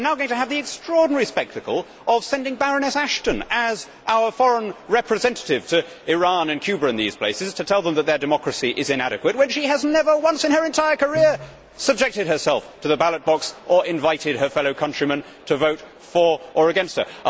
We are now going to have the extraordinary spectacle of sending Baroness Ashton as our foreign representative to Iran and Cuba and these places to tell them that their democracy is inadequate, when she has never once in her entire career subjected herself to the ballot box, or invited her fellow countrymen to vote for or against her.